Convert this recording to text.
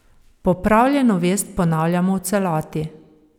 Popravljeno vest ponavljamo v celoti.